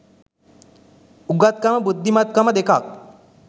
උගත් කම බුද්ධිමත් කම දෙකක්